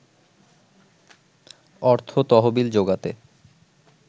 অর্থ তহবিল জোগাতে